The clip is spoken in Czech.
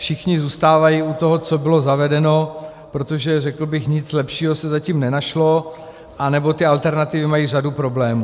Všichni zůstávají u toho, co bylo zavedeno, protože, řekl bych, nic lepšího se zatím nenašlo, anebo ty alternativy mají řadu problémů.